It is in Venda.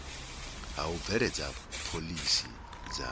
ha u bveledza phoḽisi dza